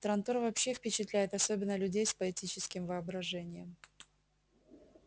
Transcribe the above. трантор вообще впечатляет особенно людей с поэтическим воображением